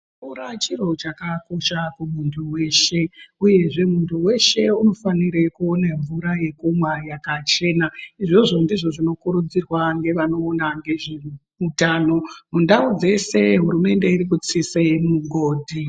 Mvura chinhu chakakosha kumuntu weshe uyezve muntu weshe unofanira kuona mvura yekumwa yakachena izvozvo ndizvo zvinokurudzirwa mune vanoona nezveutano mundau dzese hurumende irikutsisa mugodhi.